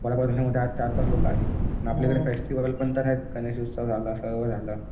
वडापाव धंद्यामध्ये आज चारपाच लोकं आली आणि आपल्याकडे फेस्टिवल पण आहेत गणेश उत्सव झालं सर्व झालं